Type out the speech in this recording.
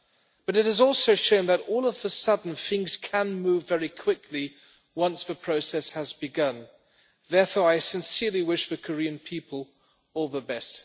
but it has also shown that all of a sudden things can move very quickly once the process has begun. Therefore, I sincerely wish the Korean people all the best.